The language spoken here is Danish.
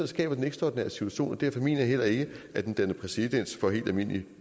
skaber den ekstraordinære situation og derfor mener jeg heller ikke at den danner præcedens for helt almindeligt